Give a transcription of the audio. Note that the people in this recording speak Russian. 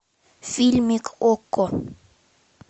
фильмик окко